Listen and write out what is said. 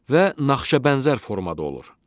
Və naxışabənzər formada olur.